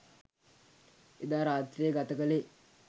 එදා රාත්‍රිය ගත කළේ